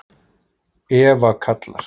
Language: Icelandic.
Eva kallar.